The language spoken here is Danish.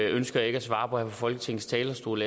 ønsker jeg ikke at svare på her fra folketingets talerstol